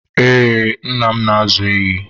we, nna m na-ázụ̀ ehi